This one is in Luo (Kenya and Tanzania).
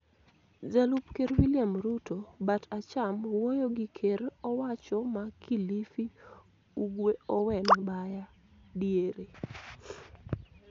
Jalup Ker William Ruto (bat acham) wuoyo gi Ker owacho ma Kilifi Ugwe Owen Baya (diere)